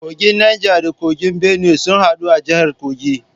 Kogin Neja da Kogin Benue sun hadu a jihar Kogi.